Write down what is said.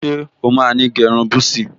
Ṣé o máa ní gẹ́ irun búsí?